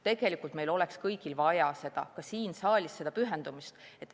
Tegelikult oleks meil kõigil ka siin saalis vaja seda pühendumist.